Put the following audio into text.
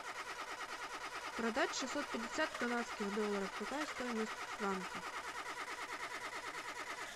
продать шестьсот пятьдесят канадских долларов какая стоимость в франках